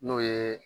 N'o ye